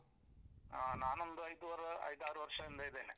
ಹಾ ನಾನೊಂದು ಐದೂವರೆ ಐದಾರು ವರ್ಷದಿಂದ ಇದ್ದೇನೆ.